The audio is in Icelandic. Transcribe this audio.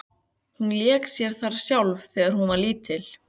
Hún lék sér þar sjálf þegar hún var lítil.